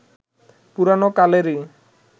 পুরোনো কালেরই